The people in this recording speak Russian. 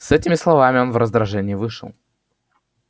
с этими словами он в раздражении вышел